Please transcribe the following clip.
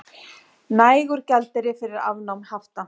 Nægur gjaldeyrir fyrir afnámi hafta